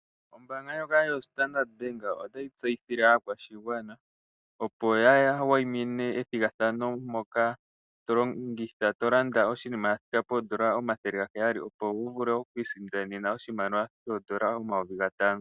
Ombanga ndyoka yoStandard bank otayi tseyithile aakwasigwana opo ya kuthe ombinga methigathano moka tolando oshinima shathika poondola omathele gaheyali opo wuvule oku isindanena oshimaliwa shithike pomayovi gatano.